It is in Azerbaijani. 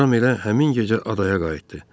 Ram elə həmin gecə adaya qayıtdı.